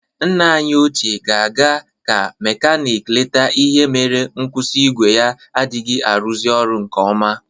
Nna anyị ochie ga-aga ka mekanik lete ihe mere nkwusi igwe ya adịghị arụzị ọrụ nke ọma